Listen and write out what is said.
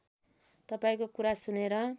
तपाईँको कुरा सुनेर